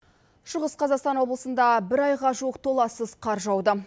шығыс қазақстан облысында бір айға жуық толассыз қар жауды